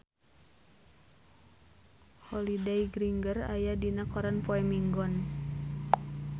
Holliday Grainger aya dina koran poe Minggon